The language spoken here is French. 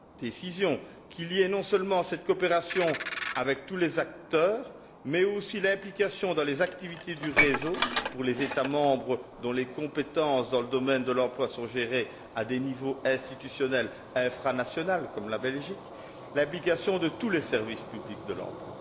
décision, qu'il y ait non seulement cette coopération avec tous les acteurs, mais aussi l'implication, dans les activités du réseau, pour les États membres dont les compétences dans le domaine de l'emploi sont gérées à des niveaux institutionnels infranationaux, comme la Belgique, de tous les services publics de l'emploi.